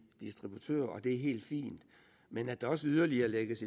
distributører og det er helt fint men at der også yderligere lægges